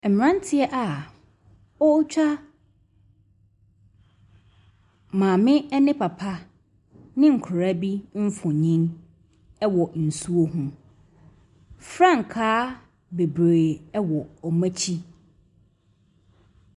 Mmeranteɛ a wɔretwa maame ne papa ne nkwadaa bi mfonin wɔ nsuo ho. Frankaa bebree wɔ wɔn akyi.